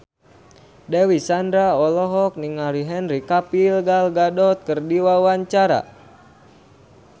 Dewi Sandra olohok ningali Henry Cavill Gal Gadot keur diwawancara